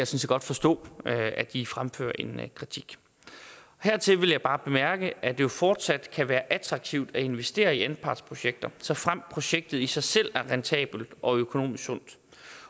set godt forstå at at de fremfører en kritik hertil vil jeg bare bemærke at det jo fortsat kan være attraktivt at investere i anpartsprojekter såfremt projektet i sig selv er rentabelt og økonomisk sundt